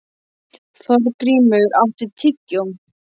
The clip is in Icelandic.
Þorgrímur, áttu tyggjó?